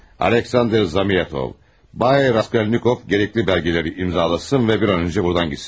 Aleksandr Zamyatov, Bay Raskolnikov gərəqli bəlgələri imzalasın və bir an öncə buradan getsin.